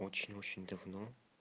очень-очень давно